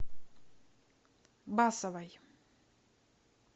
басовой